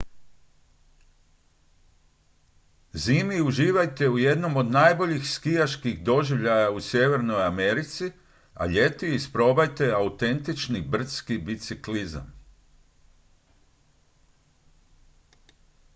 zimi uživajte u jednom od najboljih skijaških doživljaja u sjevernoj americi a ljeti isprobajte autentični brdski biciklizam